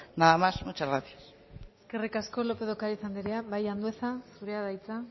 nada más muchas gracias eskerrik asko lópez de ocariz andrea bai andueza zurea da hitza